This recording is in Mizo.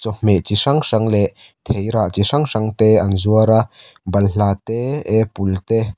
chawhmeh chi hrang hrang leh theih rah chi hrang hrang te an zuar a balhla te apple te.